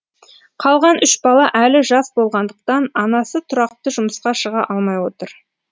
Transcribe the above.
қалған үш бала әлі жас болғандықтан анасы тұрақты жұмысқа шыға алмай отыр